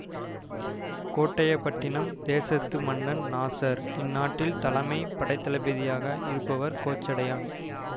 கோட்டையபட்டினம் தேசத்து மன்னன் நாசர் இந்நாட்டில் தலைமை படைத்தளபதியாக இருப்பவர் கோச்சடையான்